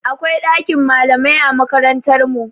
Akwai ɗakin malamai a makarantar mu.